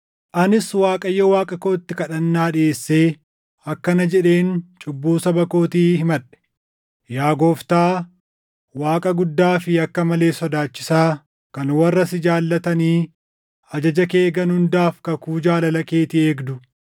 Anis Waaqayyo Waaqa kootti kadhannaa dhiʼeessee akkana jedheen cubbuu saba kootii himadhe: “Yaa Gooftaa, Waaqa guddaa fi akka malee sodaachisaa kan warra si jaallatanii ajaja kee eegan hundaaf kakuu jaalala keetii eegdu,